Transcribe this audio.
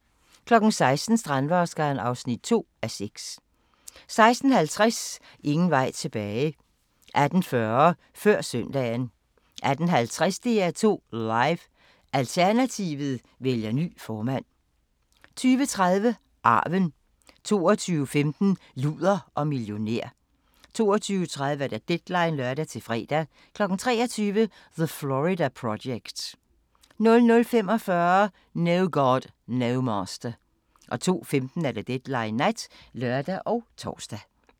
16:00: Strandvaskeren (2:6) 16:50: Ingen vej tilbage 18:40: Før søndagen 18:50: DR2 Live: Alternativet vælger ny formand 20:30: Arven 22:15: Luder og millionær 22:30: Deadline (lør-fre) 23:00: The Florida Project 00:45: No God, No Master 02:15: Deadline Nat (lør og tor)